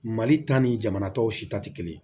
Mali ta ni jamana tɔw si ta te kelen ye